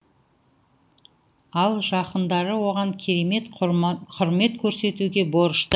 ал жақындары оған керемет құрмет көрсетуге борышты